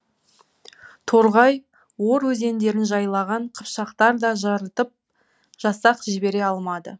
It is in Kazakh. торғай ор өзендерін жайлаған қыпшақтар да жарытып жасақ жібере алмады